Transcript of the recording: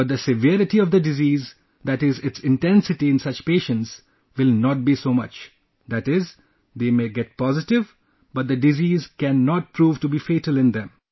But the severity of the disease, that is its intensity in such patients will not be so much, that is, they may get positive but the disease can not prove to be fatal in them